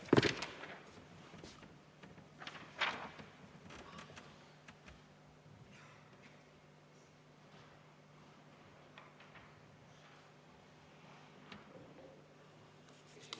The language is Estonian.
Aitäh!